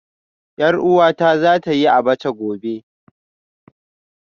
Yar uwata za ta yi Abacha gobe